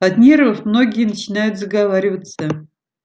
от нервов многие начинают заговариваться